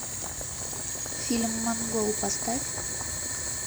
фильм монгол поставь